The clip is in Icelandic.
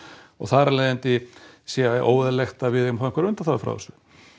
og þar af leiðandi sé óeðlilegt að við eigum einhverjar undanþágur frá þessu